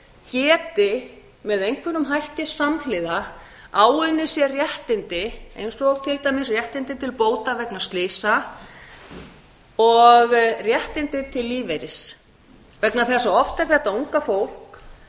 geti með einhverjum hætti samhliða áunnið sér réttindi eins og til dæmis réttindi til bóta vegna slysa og réttindi til lífeyris vegna þess að oft er þetta unga fólk